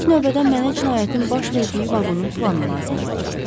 İlk növbədən mənə cinayətin baş verdiyi vaqonun planı lazım olacaq.